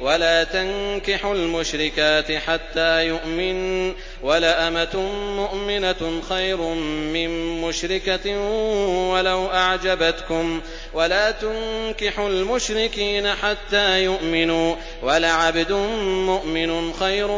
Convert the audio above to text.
وَلَا تَنكِحُوا الْمُشْرِكَاتِ حَتَّىٰ يُؤْمِنَّ ۚ وَلَأَمَةٌ مُّؤْمِنَةٌ خَيْرٌ مِّن مُّشْرِكَةٍ وَلَوْ أَعْجَبَتْكُمْ ۗ وَلَا تُنكِحُوا الْمُشْرِكِينَ حَتَّىٰ يُؤْمِنُوا ۚ وَلَعَبْدٌ مُّؤْمِنٌ خَيْرٌ